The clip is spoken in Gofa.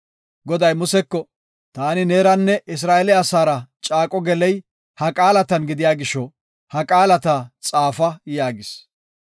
Goday Museko, “Taani neeranne Isra7eele asaara caaqo geley ha qaalatan gidiya gisho, ha qaalata xaafa” yaagis.